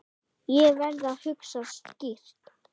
Ég verð að hugsa skýrt.